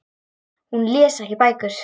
Hún les ekki bækur.